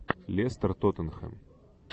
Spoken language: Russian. лестер тоттенхэм